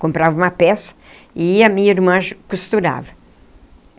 Comprava uma peça e a minha irmã costurava.